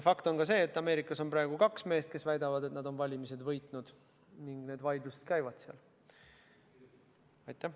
Fakt on ka see, et Ameerikas on praegu kaks meest, kes väidavad, et nad on valimised võitnud, ning need vaidlused seal käivad.